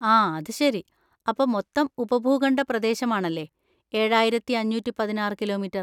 ആ, അത് ശരി! അപ്പൊ മൊത്തം ഉപഭൂഖണ്ഡ പ്രദേശമാണല്ലേ ഏഴായിരത്തി അഞ്ഞൂറ്റി പതിനാറ്‌ കിലോമീറ്റർ.